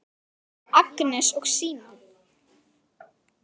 Agnes og Símon.